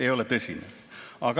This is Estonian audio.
Ei ole tõsi.